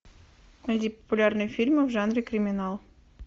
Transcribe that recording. найди популярные фильмы в жанре криминал